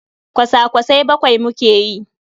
Kwasa-kwasai bakwai muke yi.